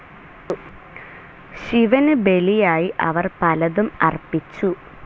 ശിവന് ബലിയായി അവർ പലതും അർപ്പിച്ചു.